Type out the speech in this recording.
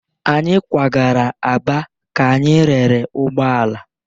Anyị kwagara Aba ka anyị rere ụgbọ ala.